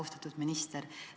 Austatud minister!